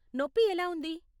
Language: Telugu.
నొప్పి ఎలా ఉంది ?